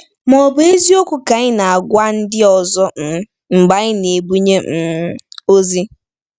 Ma ọ̀ bụ eziokwu ka anyị na-agwa ndị ọzọ um mgbe anyị na-ebunye um ozi?